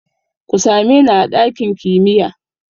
Ku same ni a ɗakin kimiya!